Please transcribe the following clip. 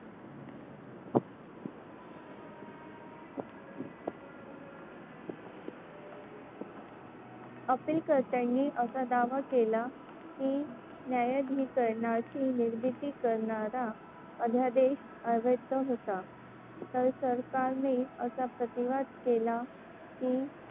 अपीलकर्त्यांनी असा दावा केला की न्यायाधिकरणाची निर्मिती करणारा अध्यादेश अवैध होता. तर सरकारने असा प्रतिवाद केला की,